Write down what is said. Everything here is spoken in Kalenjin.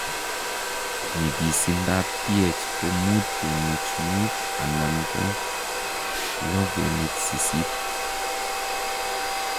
Nyigiisindap pH ko 5.5- 6.8.